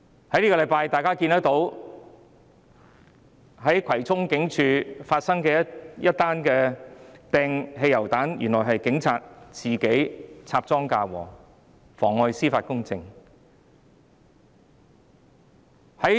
這星期大家見到在葵涌警署外發生的擲汽油彈案，原來是警察自己插贓嫁禍，妨礙司法公正。